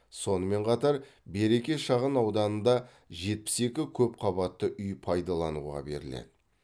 сонымен қатар береке шағын ауданында жетпіс екі көп қабатты үй пайдалануға беріледі